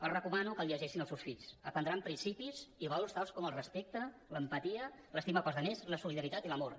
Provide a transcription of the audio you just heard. els recomano que el llegeixin als seus fills aprendran principis i valors tals com el respecte l’empatia l’estima per als altres la solidaritat i l’amor